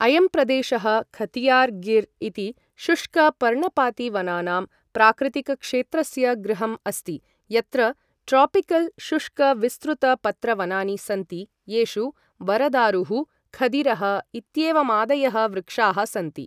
अयं प्रदेशः खथियार् गिर् इति शुष्कपर्णपातिवनानां प्राकृतिकक्षेत्रस्य गृहम् अस्ति, यत्र ट्रोपिकल् शुष्कविस्तृतपत्रवनानि सन्ति येषु वरदारुः, खदिरः इत्येवमादयः वृक्षाः सन्ति।